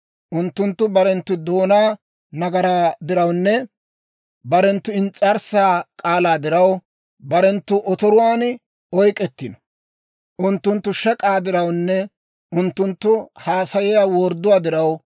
Unttunttu barenttu doonaa nagaraa dirawunne barenttu ins's'arssaa k'aalaa diraw, barenttu otoruwaan oyk'k'ettino. Unttunttu shek'aa dirawunne unttunttu haasayiyaa wordduwaa diraw,